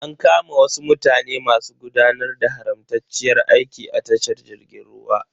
An kama wasu mutane masu gudanar da haramtacciyar aiki a tashar jirgin ruwan.